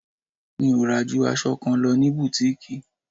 Mi ò rà ju aṣọ kan lọ ní butiiki.